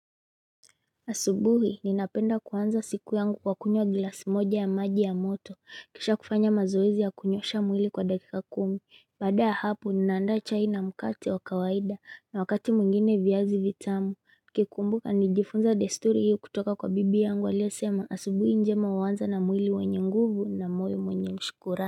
Asubuhi ninapenda kuanza siku yangu kwa kunywa glass moja ya maji ya moto kisha kufanya mazoezi ya kunyosha mwili kwa dakika kumi baada hapo ninaanda chai na mkate wa kawaida na wakati mwingine viazi vitamu nikikumbuka nijifunza desturi hio kutoka kwa bibi yangu aliyesema asubuhi njema huanza na mwili wenye nguvu na moyo mwenye shukurani.